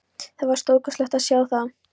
Það var stórkostlegt að sjá það.